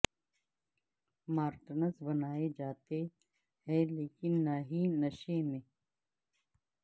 Martin's بنائے جاتے ہیں لیکن نہ ہی نشے میں